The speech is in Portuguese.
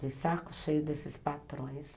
De saco cheio desses patrões.